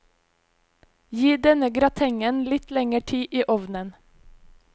Gi denne gratengen litt lenger tid i ovnen.